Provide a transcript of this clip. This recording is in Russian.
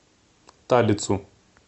талицу